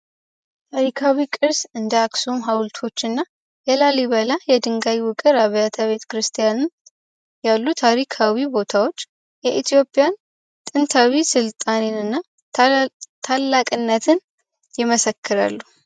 ታሪካዊ ቅርስ እንደአክሱም ሐውልቶችና የላሊበላ የድንጋይ ውግር አብያተ ቤተክርስቲያን ያሉ ታሪካዊ ቦታዎች የኢትዮጵያ ጥንታዊ ስልጣኔንና ታላቅነትን የመሰክርሉ።